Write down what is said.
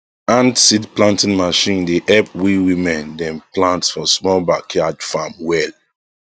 hand seed planting machine dey help we women dem plant for small backyard farm well